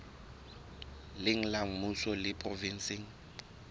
leng la mmuso le provenseng